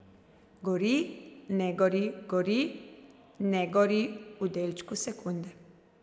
Gori, ne gori, gori, ne gori v delčku sekunde.